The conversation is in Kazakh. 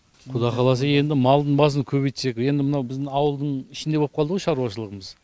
құдай қаласа енді малдың басын көбейтсек енді мынау біздің ауылдың ішінде болып қалды ғой шаруашылығымыз